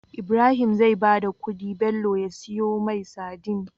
Ibrahim zai bada kudi Bello ya siyo mai sadin